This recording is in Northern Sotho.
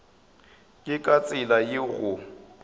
ke ka tsela yeo go